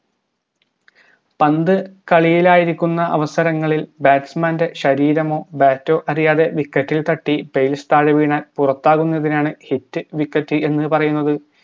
പന്ത് കളിയിലായിരിക്കുന്ന അവസരങ്ങളിൽ batsman ൻറെ ശരീരമോ bat ഓ അറിയാതെ wicket ഇൽ തട്ടി base താഴെ വീണാൽ പുറത്താകുന്നതിനാണ് hit wicket എന്ന് പറയുന്നത്